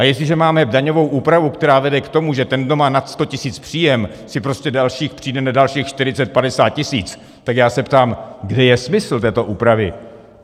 A jestliže máme daňovou úpravu, která vede k tomu, že ten, kdo má nad 100 tisíc příjem, si prostě přijde na dalších 40-50 tisíc, tak já se ptám, kde je smysl této úpravy.